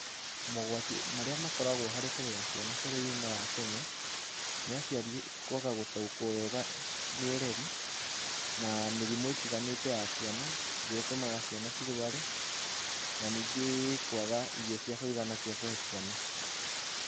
Mogwati marĩa makoragwo harĩ kũrerera ciana bũrũri-inĩ wa kenya, ni aciari kwaga gũtaũkwo wega nĩ ũreri, na mĩrimũ ĩtiganĩte ya ciana, ĩrĩa ĩtũmaga ciana cirware. Na ningĩ kwaga irio cia kũĩgana cia kũhe ciana.